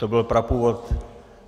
To byl prapůvod.